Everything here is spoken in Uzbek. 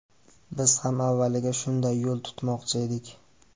Biz ham avvaliga shunday yo‘l tutmoqchi edik.